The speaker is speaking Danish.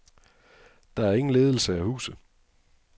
Der er ingen ledelse af huset.